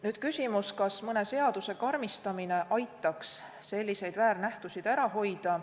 Nüüd küsimus, kas mõne seaduse karmistamine aitaks selliseid väärnähtusid ära hoida.